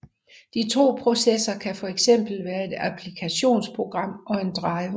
De to processer kan fx være et applikationsprogram og en driver